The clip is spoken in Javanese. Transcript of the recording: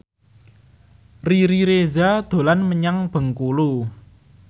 Riri Reza dolan menyang Bengkulu